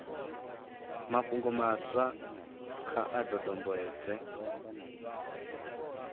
mafhungo maswa kha a dodombedzwe